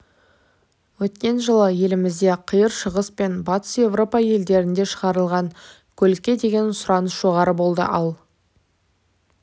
өткен жылы елімізде қиыр шығыс пен батыс еуропа елдерінде шығарылған көлікке деген сұраныс жоғары болды ал